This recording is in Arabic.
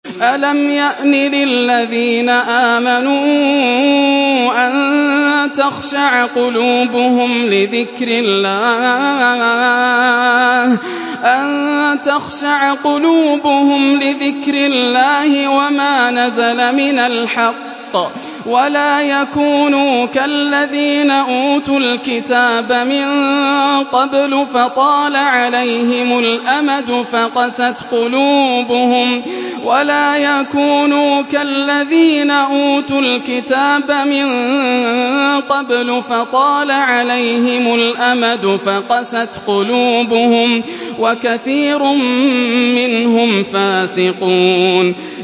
۞ أَلَمْ يَأْنِ لِلَّذِينَ آمَنُوا أَن تَخْشَعَ قُلُوبُهُمْ لِذِكْرِ اللَّهِ وَمَا نَزَلَ مِنَ الْحَقِّ وَلَا يَكُونُوا كَالَّذِينَ أُوتُوا الْكِتَابَ مِن قَبْلُ فَطَالَ عَلَيْهِمُ الْأَمَدُ فَقَسَتْ قُلُوبُهُمْ ۖ وَكَثِيرٌ مِّنْهُمْ فَاسِقُونَ